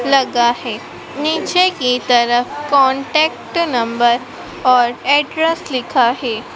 लगा है नीचे की तरफ कांटेक्ट नंबर और एड्रेस लिखा है।